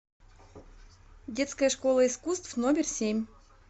детская школа искусств номер семь